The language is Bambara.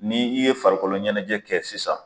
N' i ye farikolo ɲɛnajɛ kɛ sisan.